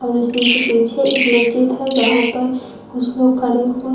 और इसी के पीछे एक मस्जिद है जहां पर कुछ लोग खड़े हुए हैं।